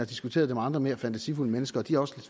diskuteret det med andre mere fantasifulde mennesker og de har også